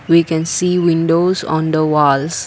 we can see windows on the walls.